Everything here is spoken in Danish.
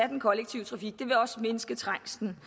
den kollektive trafik det vil også mindske trængslen